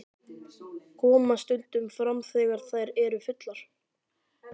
Koma stundum fram þegar þær eru fullar.